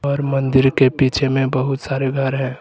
और मंदिर के पीछे में बहुत सारे घर है।